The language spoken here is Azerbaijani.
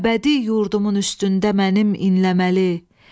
Əbədi yurdumun üstündə mənim inləməli.